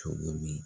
Cogo min